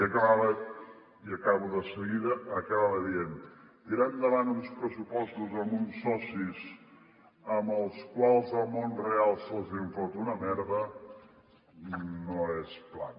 i acabo de seguida acaba dient tirar endavant uns pressupostos amb uns socis als quals el món real se’ls en fot una merda no és plan